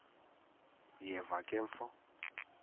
uyeva ke mfo